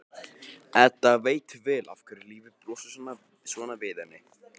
Edda veit vel af hverju lífið brosir svona við henni.